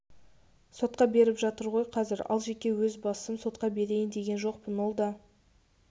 сотқа беріп жатыр ғой қазір ал жеке өз басым сотқа берейін деген жоқпын ол да